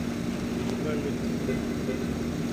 музыкальные клипы